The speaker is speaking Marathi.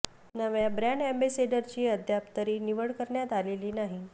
नव्या ब्रँड अॅम्बॅसेडरची अद्याप तरी निवड करण्यात आलेली नाही